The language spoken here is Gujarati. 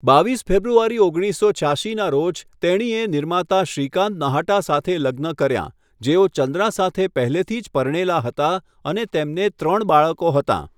બાવીસ ફેબ્રુઆરી ઓગણીસસો છ્યાશીના રોજ, તેણીએ નિર્માતા શ્રીકાંત નહાટા સાથે લગ્ન કર્યાં, જેઓ ચંદ્રા સાથે પહેલેથી જ પરણેલા હતા અને તેમને ત્રણ બાળકો હતાં.